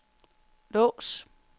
lås